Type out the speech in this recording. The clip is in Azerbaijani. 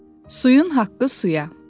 Suyun haqqı suya.